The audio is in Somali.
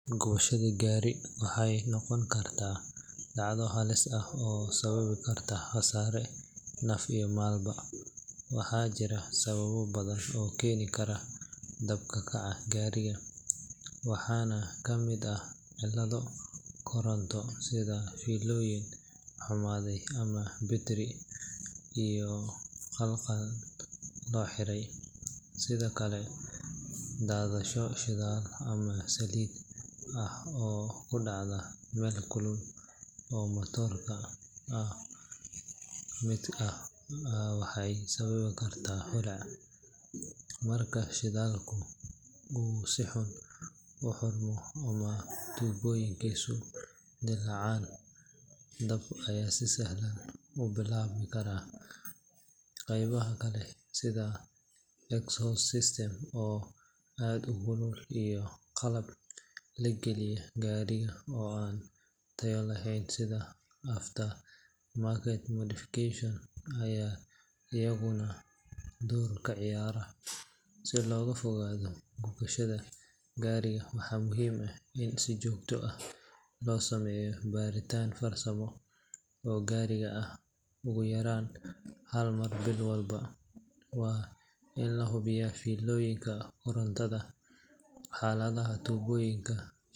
Gubashada gaari waxay noqon kartaa dhacdo halis ah oo sababi karta khasaare naf iyo maalba leh. Waxaa jira sababo badan oo keeni kara dab ka kaca gaariga, waxaana ka mid ah cilado koronto, sida fiilooyin xumaaday ama battery si khaldan loo xiray. Sidoo kale, daadasho shidaal ama saliid ah oo ku dhacda meel kulul oo matoorka ka mid ah waxay sababi kartaa holac. Marka shidaalka uu si xun u xirmo ama tuubooyinkiisu dillaacaan, dab ayaa si sahlan ku bilaaban kara. Qaybaha kale sida exhaust system oo aad u kulul iyo qalab la geliyo gaariga oo aan tayo lahayn sida aftermarket modifications ayaa iyaguna door ka ciyaara. Si looga fogaado gubashada gaariga, waxaa muhiim ah in si joogto ah loo sameeyo baaritaan farsamo oo gaariga ah ugu yaraan hal mar bil walba. Waa in la hubiyaa fiilooyinka korontada, xaaladda tuubooyinka.